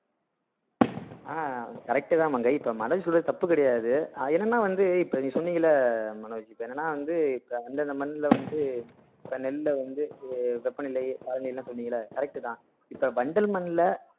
ஆஹ் correct தா மங்கை இப்ப மனோஜ் சொல்றது தப்பு கிடையாது என்னன்னா வந்து இப்ப நீங்க சொன்னீங்கல்ல மனோஜ் இப்ப என்னன்னா வந்து இப்ப வந்து அந்தந்த மண்ணுல வந்து இப்ப நெல்லுல வந்து வெப்பநிலை அதுல எல்லாம் சொன்னீங்கல்ல correct தான் இப்ப வண்டல் மண்ல